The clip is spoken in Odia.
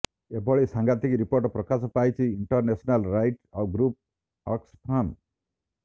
ଏଭଳି ସାଂଘାତିକ ରିପୋର୍ଟ ପ୍ରକାଶ କରିଛି ଇଂଟରନ୍ୟାସନାଲ୍ ରାଇଟ୍ ଗ୍ରୁପ୍ ଅକ୍ସଫାମ୍